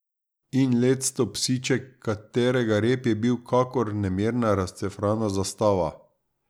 In lectov psiček, katerega rep je bil kakor nemirna razcefrana zastava.